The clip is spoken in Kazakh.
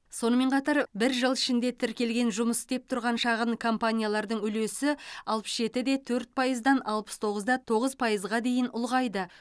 сонымен қатар бір жыл ішінде тіркелген жұмыс істеп тұрған шағын компаниялардың үлесі алпыс жеті де төрт пайыздан алпыс тоғыз да тоғыз пайызға дейін ұлғайды